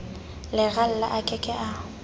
leralla a ke ke a